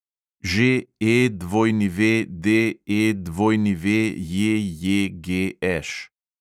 ŽEWDEWJJGŠ